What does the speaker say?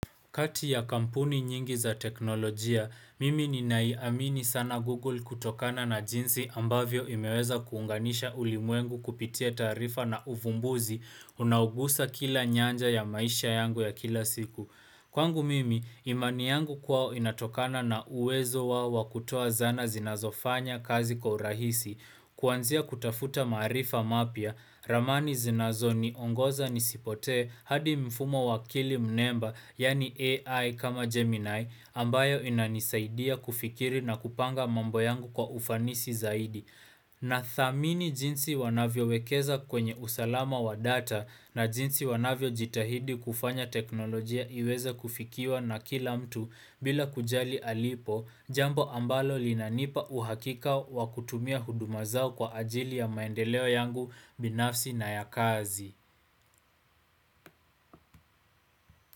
Kati ya kampuni nyingi za teknolojia, mimi ninaiamini sana Google kutokana na jinsi ambavyo imeweza kuunganisha ulimwengu kupitia taarifa na uvumbuzi unaogusa kila nyanja ya maisha yangu ya kila siku. Kwangu mimi, imani yangu kwao inatokana na uwezo wao wa kutoa zana zinazofanya kazi kwa urahisi, kuanzia kutafuta maarifa mapya, ramani zinazoniongoza nisipotee hadi mfumo wa akili mnemba, yaani AI kama Gemini, ambayo inanisaidia kufikiri na kupanga mambo yangu kwa ufanisi zaidi. Nathamini jinsi wanavyowekeza kwenye usalama wa data na jinsi wanavyo jitahidi kufanya teknolojia iweze kufikiwa na kila mtu bila kujali alipo, jambo ambalo linanipa uhakika wa kutumia huduma zao kwa ajili ya maendeleo yangu binafsi na ya kazi.